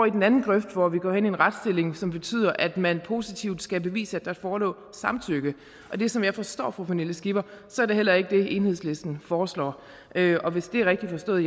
i den anden grøft hvor vi går ind i en retsstilling som betyder at man positivt skal bevise at der forelå samtykke det er som jeg forstår fru pernille skipper heller ikke det enhedslisten foreslår og hvis det er rigtigt forstået